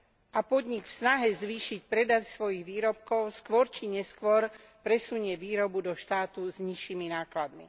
A podnik v snahe zvýšiť predaj svojich výrobkov skôr či neskôr presunie výrobu do štátu s nižšími nákladmi.